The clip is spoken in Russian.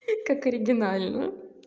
и как оригинально